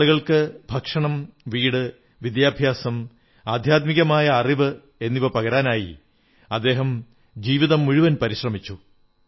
ജനങ്ങൾക്ക് ഭക്ഷണം വീട് വിദ്യാഭ്യാസം ആധ്യാത്മികമായ അറിവ് മുതലായവ പകരുവാനായി അദ്ദേഹം ജീവിതം മുഴുവൻ പരിശ്രമിച്ചു